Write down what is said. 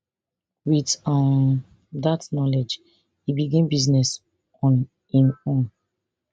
wit um dat knowledge e begin business on im own